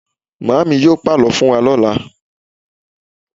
Màámi yóò pàlọ́ fún wa lọ́la.